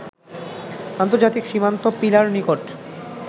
আন্তর্জাতিক সীমান্ত পিলার নিকট